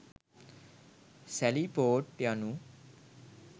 සැලි port යනු